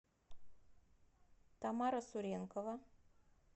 тамара суренкова